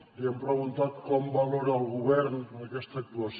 li hem preguntat com valora el govern aquesta actuació